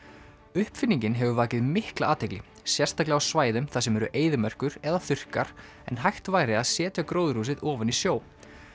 uppfinningin hefur vakið mikla athygli sérstaklega á svæðum þar sem eru eyðimerkur eða þurrkar en hægt væri að setja gróðurhúsið ofan í sjó